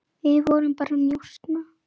Við vorum bara að njósna